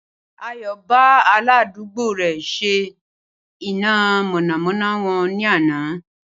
Ayò bá aládùúgbò rè şe iná mònàmóná won ní àná